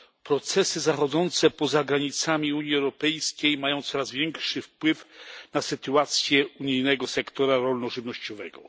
Procesy zachodzące poza granicami Unii Europejskiej mają coraz większy wpływ na sytuację unijnego sektora rolno żywnościowego.